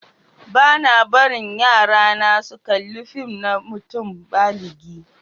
Ba'na barin yarana su kalla fìm na mutum báligi.